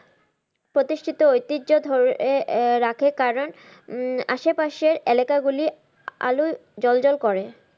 প্রতিষ্ঠিত ঐতিহ্য ধরে রাখে কারন আশে পাশের এলাকাগুলি আলোয় জ্বল জ্বল করে।